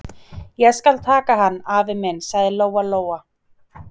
Ég skal taka hann, afi minn, sagði Lóa Lóa.